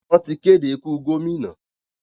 Wọ́n ti kéde ikú gómìnà.